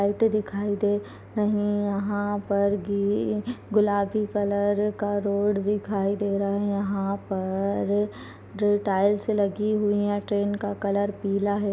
लाइटे दिखाई दे रही यहाँ पर गी गुलाबी कलर का रोड दिखाई दे रहा है यहाँ पर ग्रे टाइल्स लगी हुई है ट्रेन का कलर पीला है।